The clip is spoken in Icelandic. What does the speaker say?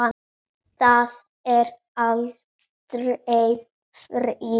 Það er aldrei frí.